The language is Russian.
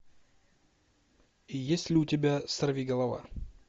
есть ли у тебя сорвиголова